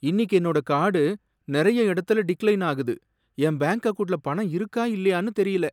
இன்னிக்கு என்னோட கார்டு நறைய இடத்துல டிக்லைன் ஆகுது. என் பேங்க் அக்கவுண்ட்ல பணம் இருக்கா இல்லையானு தெரியல.